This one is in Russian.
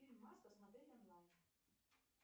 фильм маска смотреть онлайн